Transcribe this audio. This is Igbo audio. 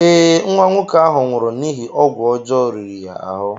Ee, nwa nwoke ahụ nwụrụ n'ihi ọgwụ ọjọọ riri ya ahụ.